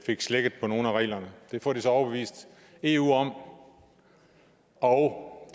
fik slækket på nogle af reglerne det får de så overbevist eu om og